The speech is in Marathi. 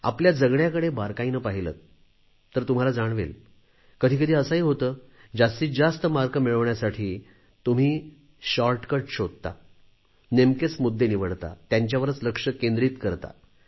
आपल्या जगण्याकडे बारकाईने पाहिलेत तर तुम्हाला जाणवेल कधी कधी असेही होते जास्तीत जास्त गुण मिळवण्यासाठी तुम्ही शॉर्टकट शोधता नेमकेच मुद्दे निवडता त्यांच्यावरच लक्ष केंद्रित करता